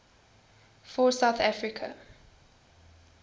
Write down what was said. for south africa